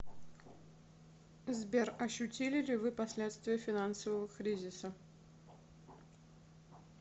сбер ощутили ли вы последствия финансового кризиса